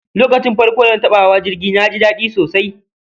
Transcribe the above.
lokacin farko dana taba hawa jirgi naji dadi sosai